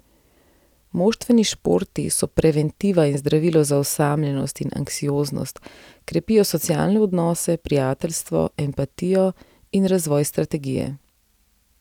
Moštveni športi so preventiva in zdravilo za osamljenost in anksioznost, krepijo socialne odnose, prijateljstvo, empatijo in razvoj strategije.